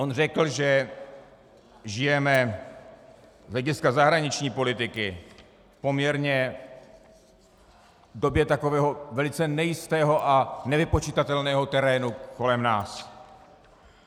On řekl, že žijeme z hlediska zahraniční politiky poměrně v době takového velice nejistého a nevypočitatelného terénu kolem nás.